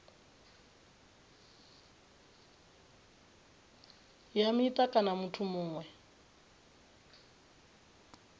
ya mita kana muthu muṅwe